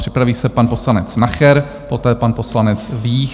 Připraví se pan poslanec Nacher, poté pan poslanec Vích.